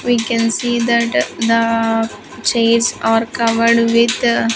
We can see that the chairs are covered with--